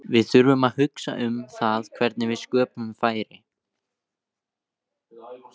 Við þurfum að hugsa um það hvernig við sköpum færi.